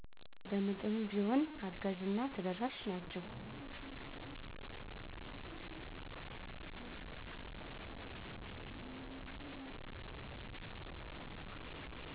በመጠኑም ቢሆን አጋዢ እና ተደራሽ ናቸው